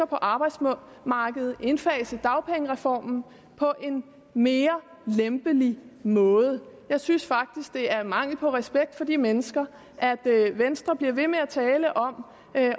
på arbejdsmarkedet indfase dagpengereformen på en mere lempelig måde jeg synes faktisk det er mangel på respekt for de mennesker at venstre bliver ved med at tale om